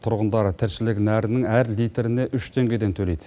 тұрғындар тіршілік нәрінің әр литріне үш теңгеден төлейді